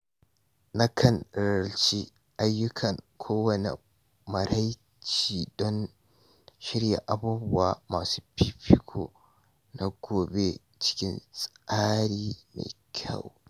Na kan nazarci ayyukana kowane maraice don shirya abubuwa masu fifiko na gobe cikin tsari mai kyau.